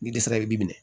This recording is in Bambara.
Ni dɛsɛ bɛ bin minɛ